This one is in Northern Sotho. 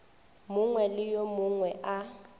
mongwe le yo mongwe a